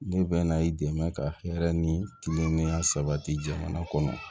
Ne bɛ na i dɛmɛ ka hɛrɛ ni kilenya sabati jamana kɔnɔ